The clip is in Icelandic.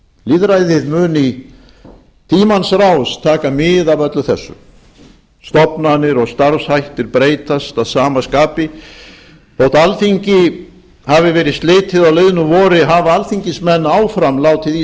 lýðræðið mun í tímans rás taka mið af öllu þessu stofnanir og starfshættir breytast að sama skapi þótt alþingi hafi verið slitið á liðnu vori hafa alþingismenn áfram látið í